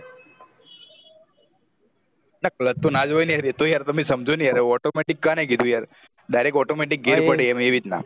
clutch તો ના જ હોય ને યાર એતો તમે સમજો ને યાર automatic કને કીધું direct automatic gear પડે એમ અ એ રીતના